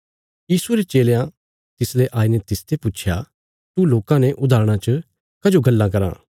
यीशुये रे चेलयां तिसले आईने तिसते पुच्छया तू लोकां ने उदाहरणां च कजो गल्लां कराँ